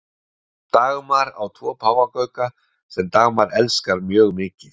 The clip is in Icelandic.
dagmar á tvo páfagauka sem dagmar elskar mjög mikið